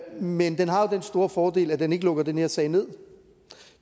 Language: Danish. men den har jo den store fordel at den ikke lukker den her sag nederst